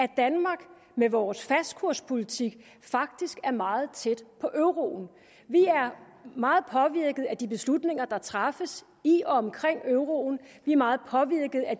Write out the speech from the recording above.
at danmark med vores fastkurspolitik faktisk er meget tæt på euroen vi er meget påvirket af de beslutninger der træffes i og omkring euroen vi er meget påvirket af